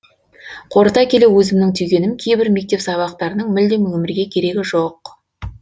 қорыта келе өзімнің түйгенім кейбір мектеп сабақтарының мүлдем өмірге керегі жоқ